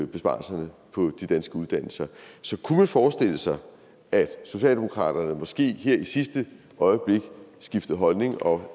besparelserne på de danske uddannelser så kunne man forestille sig at socialdemokratiet måske her i sidste øjeblik skiftede holdning og